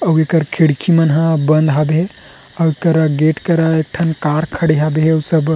अउ एकर खिड़की मन हा बंध हबे अउ एकरा गेट करा एक ठन कार खड़े हबे उ सब --